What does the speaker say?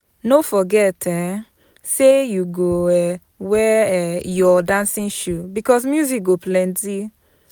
No forget um sey you go um wear um your dancing shoe bicos music go plenty.